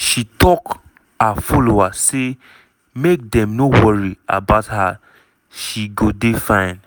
she tok her followers say make dem no worry about her she go dey fine.